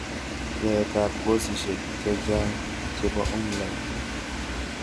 Yatetab kosisek chechang chebo online